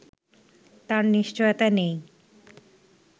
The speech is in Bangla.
তার নিশ্চয়তা নেই